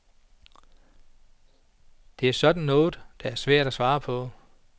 Det er sådan noget, der er svært at svare på.